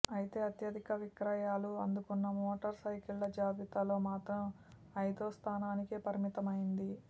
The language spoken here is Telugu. అయితే అత్యధిక విక్రయాలు అందుకున్న మోటార్ సైకిళ్ల జాబితాలో మాత్రం ఐదో స్థానానికే పరిమితమైంది